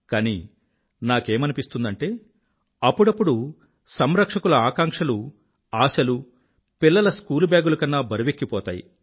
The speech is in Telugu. కానీ నాకేమనిపిస్తుందంటే అప్పుడప్పుడు సంరక్షకుల ఆకాంక్షలు ఆశలు పిల్లల స్కూలు బ్యాగుల కన్నా బరువెక్కిపోతాయి